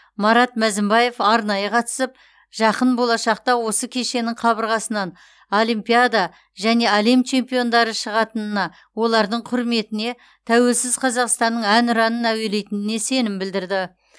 марат мәзімбаев арнайы қатысып жақын болашақта осы кешеннің қабырғасынан олимпиада және әлем чемпиондары шығатынына олардың құрметіне тәуелсіз қазақстанның әнұранын әуелейтініне сенім білдірді